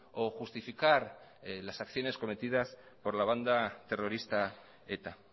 o justificar las acciones cometidas por la banda terrorista eta